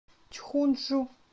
чхунджу